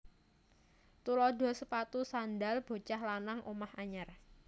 Tuladha sepatu sandhal bocah lanang omah anyar